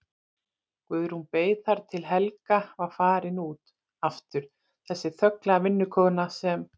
Guðrún beið þar til Helga var farin út aftur, þessi þögla vinnukona sem